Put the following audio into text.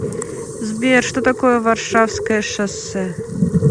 сбер что такое варшавское шоссе